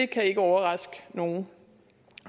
kan ikke overraske nogen